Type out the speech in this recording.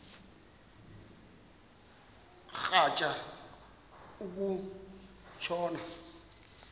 rhatya uku tshona